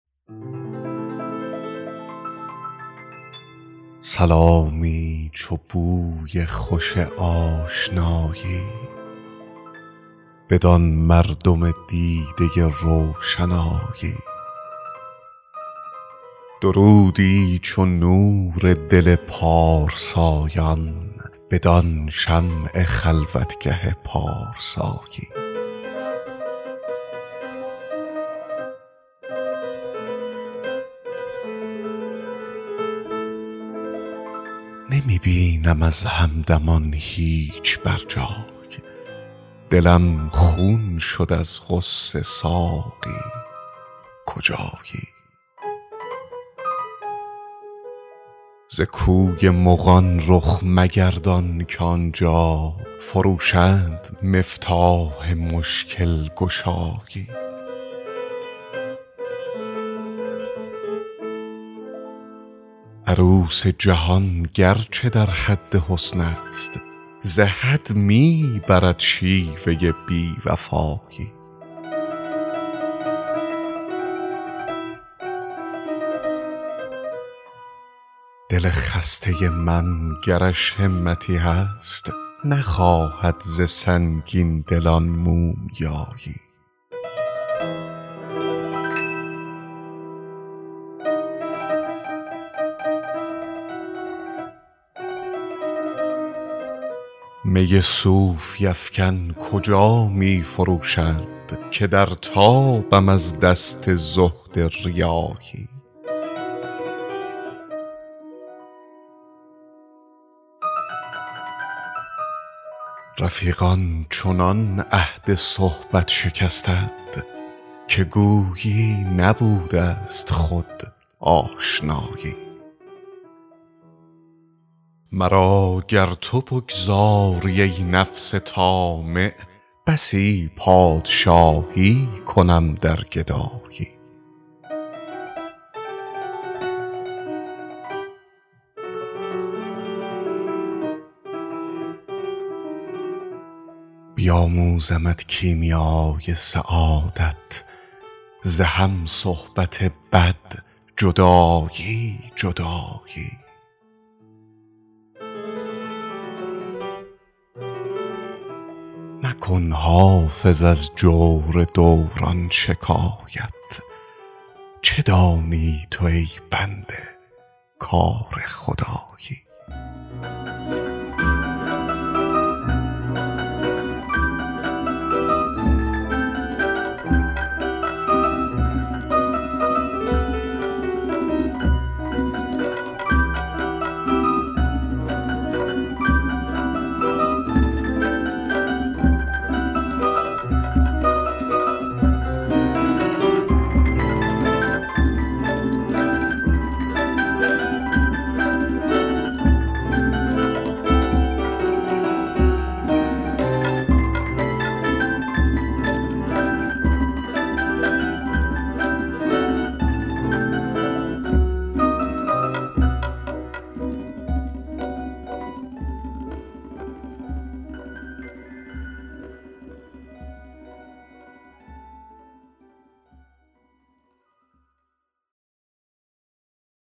سلامی چو بوی خوش آشنایی بدان مردم دیده روشنایی درودی چو نور دل پارسایان بدان شمع خلوتگه پارسایی نمی بینم از همدمان هیچ بر جای دلم خون شد از غصه ساقی کجایی ز کوی مغان رخ مگردان که آن جا فروشند مفتاح مشکل گشایی عروس جهان گر چه در حد حسن است ز حد می برد شیوه بی وفایی دل خسته من گرش همتی هست نخواهد ز سنگین دلان مومیایی می صوفی افکن کجا می فروشند که در تابم از دست زهد ریایی رفیقان چنان عهد صحبت شکستند که گویی نبوده ست خود آشنایی مرا گر تو بگذاری, ای نفس طامع بسی پادشایی کنم در گدایی بیاموزمت کیمیای سعادت ز هم صحبت بد جدایی جدایی مکن حافظ از جور دوران شکایت چه دانی تو ای بنده کار خدایی